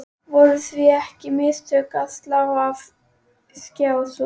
Voru því ekki mistök að slá af Skjá tvo?